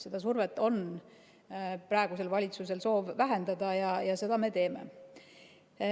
Seda survet on praegusel valitsusel soov vähendada ja seda me teeme.